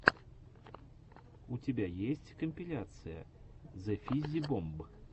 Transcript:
у тебя есть компиляция зэфиззибомб